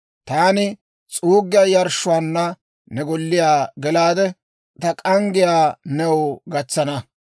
Taani s'uuggiyaa yarshshuwaanna ne golliyaa gelaade, ta k'anggiyaa new gatsana.